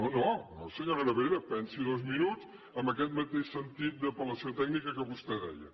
no no senyora nebrera pensi hi dos minuts amb aquest mateix sentit d’apel·lació tècnica que vostè deia